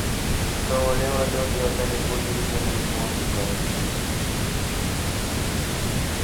Ĩka ũrĩa wothe ũngĩhota nĩguo ũgirĩrĩrie mũrimũ wa cukari.